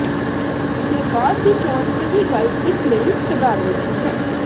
ਦੇ ਬਾਅਦ ਦੀ ਚੋਣ ਸਹੀ ਗੱਲ ਇਸ ਲਈ ਸਧਾਰਨ ਨਹੀ ਹੈ